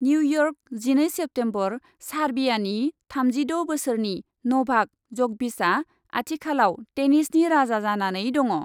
New York, जिनै September, सार्बियानि थामजिद' बोसोरनि नभाक जकभिचआ आथिखालाव टेनिसनि राजा जानानै दङ।